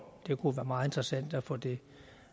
det kunne være meget interessant at få det